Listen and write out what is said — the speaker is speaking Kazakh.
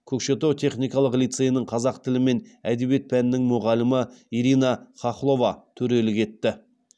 көкшетау техникалық лицейінің қазақ тілі мен әдебиеті пәнінің мұғалімі ирина хохлова төрелік етті